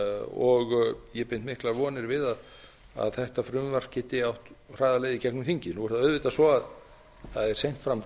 og ég bind miklar vonir við að þetta frumvarp geti átt hraða leið í gegnum þingið nú er það auðvitað svo að það er seint fram